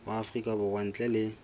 wa afrika borwa ntle le